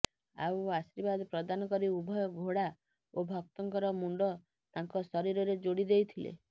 ଆଉ ଆର୍ଶୀବାଦ ପ୍ରଦାନ କରି ଉଭୟ ଘୋଡ଼ା ଓ ଭକ୍ତଙ୍କର ମୁଣ୍ଡ ତାଙ୍କ ଶରୀରରେ ଯୋଡ଼ି ଦେଇଥିଲେ